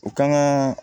U kan ka